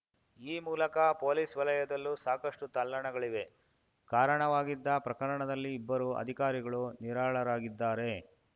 ಈ ಮೂಲಕ ಪೊಲೀಸ್‌ ವಲಯದಲ್ಲೂ ಸಾಕಷ್ಟುತಲ್ಲಣಗಳಿವೆ ಕಾರಣವಾಗಿದ್ದ ಪ್ರಕರಣದಲ್ಲಿ ಇಬ್ಬರು ಅಧಿಕಾರಿಗಳು ನಿರಾಳರಾಗಿದ್ದಾರೆ